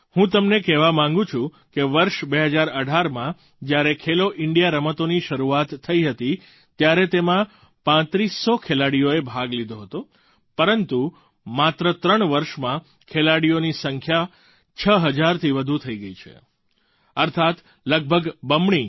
હું તમને કહેવા માગું છું કે વર્ષ 2018માં જ્યારે ખેલો ઇન્ડિયા રમતોની શરૂઆત થઈ હતી ત્યારે તેમાં પાંત્રીસ સો ખેલાડીઓએ ભાગ લીધો હતો પરંતુ માત્ર ત્રણ વર્ષમાં ખેલાડીઓની સંખ્યા 6 હજારથી વધુ થઈ ગઈ છે અર્થાત્ લગભગ બમણી